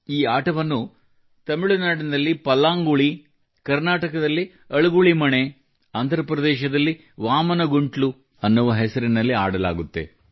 ಈ ಆಟವನ್ನು ತಮಿಳುನಾಡಿನಲ್ಲಿ ಪಲ್ಲಾಂಗುಳಿ ಎಂದು ಕರ್ನಾಟಕದಲ್ಲಿ ಅಳಿಗುಳಿ ಮಣೆ ಎಂದು ಮತ್ತು ಆಂಧ್ರಪ್ರದೇಶದಲ್ಲಿ ವಾಮನ ಗುಂಟಲೂ ಎನ್ನುವ ಹೆಸರಿನಲ್ಲಿ ಆಡಲಾಗುತ್ತದೆ